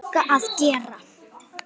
Sigga að gera?